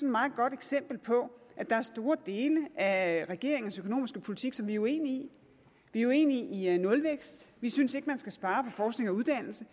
meget godt eksempel på at der er store dele af regeringens økonomiske politik som vi er uenige i vi er uenige i nulvækst vi synes ikke at man skal spare på forskning og uddannelse